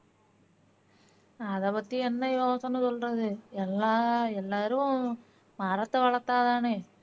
அதை பத்தி என்ன யோசனை சொல்றது எல்லா எல்லாரும் மரத்தை வளத்தா தானே